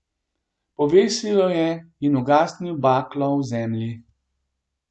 Povesil jo je in ugasnil baklo v zemlji.